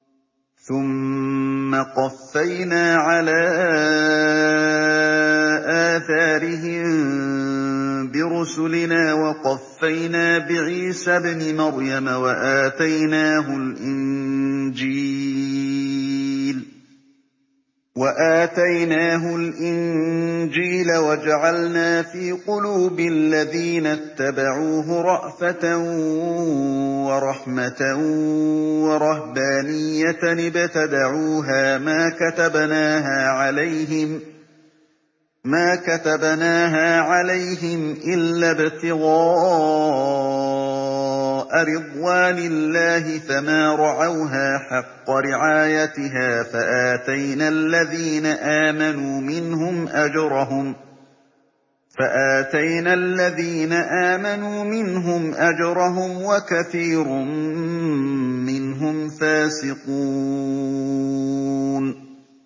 ثُمَّ قَفَّيْنَا عَلَىٰ آثَارِهِم بِرُسُلِنَا وَقَفَّيْنَا بِعِيسَى ابْنِ مَرْيَمَ وَآتَيْنَاهُ الْإِنجِيلَ وَجَعَلْنَا فِي قُلُوبِ الَّذِينَ اتَّبَعُوهُ رَأْفَةً وَرَحْمَةً وَرَهْبَانِيَّةً ابْتَدَعُوهَا مَا كَتَبْنَاهَا عَلَيْهِمْ إِلَّا ابْتِغَاءَ رِضْوَانِ اللَّهِ فَمَا رَعَوْهَا حَقَّ رِعَايَتِهَا ۖ فَآتَيْنَا الَّذِينَ آمَنُوا مِنْهُمْ أَجْرَهُمْ ۖ وَكَثِيرٌ مِّنْهُمْ فَاسِقُونَ